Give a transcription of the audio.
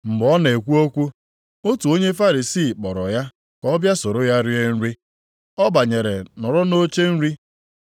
Mgbe ọ na-ekwu okwu, otu onye Farisii kpọrọ ya ka ọ bịa soro ya rie nri. Ọ banyere nọrọ nʼoche nri.